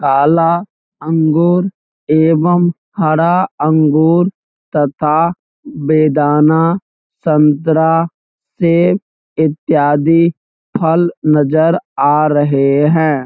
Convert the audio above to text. काला अंगूर एवं हरा अंगूर तथा बेदाना संतरा सेब इत्यादी फल नजर आ रहें हैं।